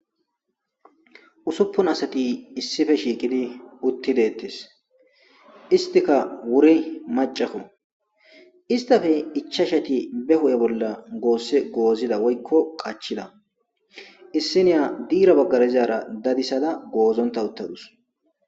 Uusupun asati issippe shiqqidi uutti deetes istikka wuuri macakko istappe ichchachchatti be huphphe bolla goose goozida woykko qaachchida issi iya diira baggara dizara dadisadda goozontta uuttadus.